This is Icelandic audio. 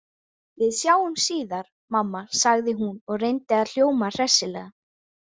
Við sjáumst síðar, mamma, sagði hún og reyndi að hljóma hressilega.